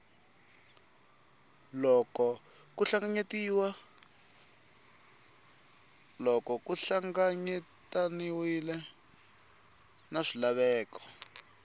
loko ku hlanganyetaniwe na swilaveko